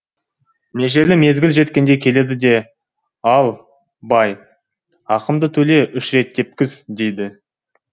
межелі мезгіл жеткенде келеді де ал бай ақымды төле үш рет тепкіз дейді